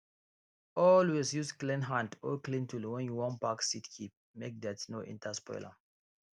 always use clean hand or clean tool when you wan pack seeds keep make dirt no enter spoil am